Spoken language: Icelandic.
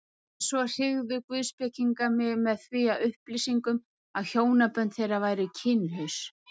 En svo hryggðu guðspekingar mig með þeim upplýsingum, að hjónabönd þeirra væru kynlaus.